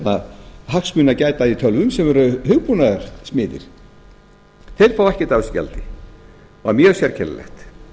hagsmuna að gæta í tölvum sem eru hugbúnaðarsmiðir þeir fá ekkert af þessu gjaldi og það er mjög sérkennilegt